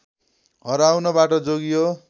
हराउनबाट जोगियो